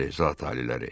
Bəli, zat aliləri.